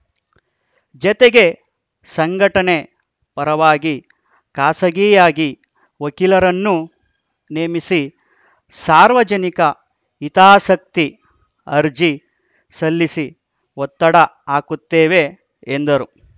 ಜತೆಗೆ ಸಂಘಟನೆ ಪರವಾಗಿ ಖಾಸಗಿಯಾಗಿ ವಕೀಲರನ್ನು ನೇಮಿಸಿ ಸಾರ್ವಜನಿಕ ಹಿತಾಸಕ್ತಿ ಅರ್ಜಿ ಸಲ್ಲಿಸಿ ಒತ್ತಡ ಹಾಕುತ್ತೇವೆ ಎಂದರು